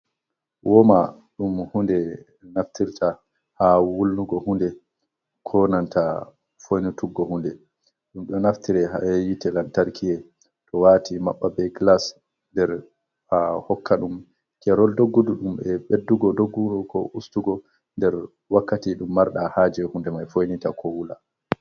Woma ɗum hunde naftirta ha wulnugo hunde konanta foinituggo hunde, ɗum ɗo naftire ha yite lantarkie to wati maɓɓa be glas der ha hokka ɗum kerol doggudu ɗum e beɗɗugo doggudu ko ustugo nder wakkati ɗum marɗa ha je hunde mai foinita ko wula.